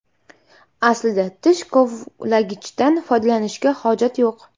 Aslida tish kovlagichdan foydalanishga hojat yo‘q.